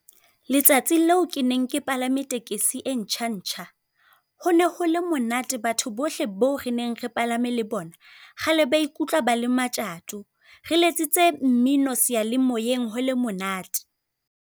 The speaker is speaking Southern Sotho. Letsatsi leo ke neng ke palame tekesi e ntjha-ntjha, hone ho le monate. Batho bohle bo re neng re palame le bona, kgale ba ikutlwa ba le matjato, re letsitse mmino seyalemoyeng ho le monate.